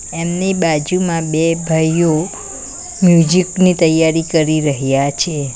એમની બાજુમાં બે ભાઈઓ મ્યુઝિક ની તૈયારી કરી રહ્યા છે.